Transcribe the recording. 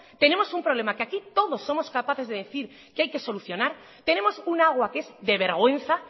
tenemos un problema que aquí todos somos capaces de decir que hay que solucionar tenemos un agua que es de vergüenza